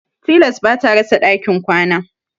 Tilas ba ta rasa ɗakin kwana.